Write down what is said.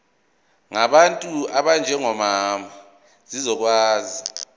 ngabantu abanjengomama zizokwazi